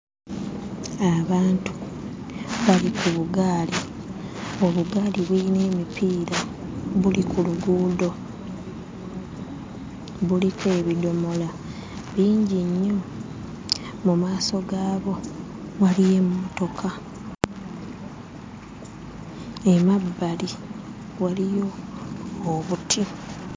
Abantu bali ku bugaali, obugaali buyina emipiira, buli ku luguudo, buliko ebidomola bingi nnyo. Mu maaso gaabwo waliyo emmotoka, emabbali waliyo obuti.